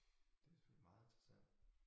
Det selvfølgelig meget interessant